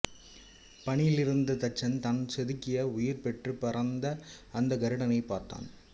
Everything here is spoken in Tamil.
பணியிலிருந்த தச்சன் தான் செதுக்கி உயிர்பெற்றுப் பறந்த அந்த கருடனைப் பார்த்தான்